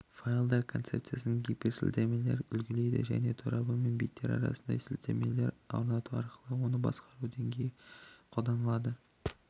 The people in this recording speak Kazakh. файлдар концепциясын гиперсілтемелермен үлгілейді және торабы мен беттері арасында гиперсілтеме орнату арқылы оны басқа деңгейде қолданады